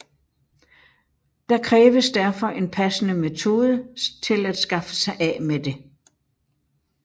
Der kræves derfor en passende metode til at skaffe sig af med det